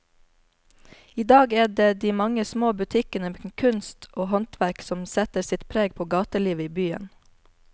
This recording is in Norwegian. I dag er det de mange små butikkene med kunst og håndverk som setter sitt preg på gatelivet i byen.